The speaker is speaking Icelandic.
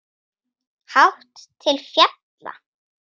Hátt til fjalla?